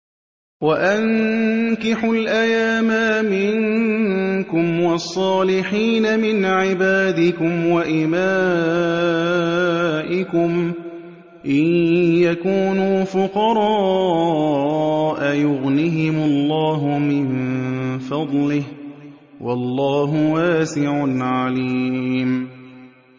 وَأَنكِحُوا الْأَيَامَىٰ مِنكُمْ وَالصَّالِحِينَ مِنْ عِبَادِكُمْ وَإِمَائِكُمْ ۚ إِن يَكُونُوا فُقَرَاءَ يُغْنِهِمُ اللَّهُ مِن فَضْلِهِ ۗ وَاللَّهُ وَاسِعٌ عَلِيمٌ